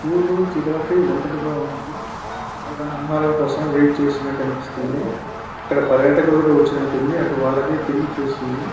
Zoo లో giraffe ఒంటరిగా ఉంది అది దాని ఆహారం కోసం వెయిట్ చేస్తున్నట్టు అనిపిస్తుంది. ఇక్కడ పర్యాటకులు వచ్చినట్టు ఉంది . అది వాళ్ళవైపు తిరిగి చూస్తుంది.